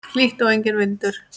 Hlýtt og enginn vindur.